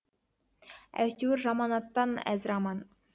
әйтеуір жаман аттан әзір аман